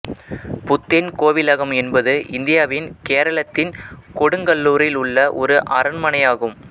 புத்தேன் கோவிலகம் என்பது இந்தியாவின் கேரளத்தின் கொடுங்கல்லூரில் உள்ள ஒரு அரண்மனையானயாகும்